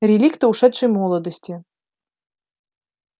реликты ушедшей молодости